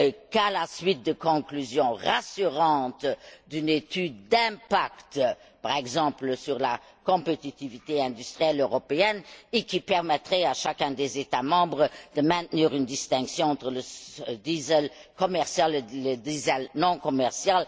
qu'à la suite de conclusions rassurantes d'une étude d'impact par exemple sur la compétitivité industrielle européenne et qui permettrait à chacun des États membres de maintenir une distinction entre le diesel commercial et le diesel non commercial.